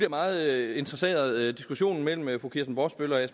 meget interesseret diskussionen mellem mellem fru kirsten brosbøl og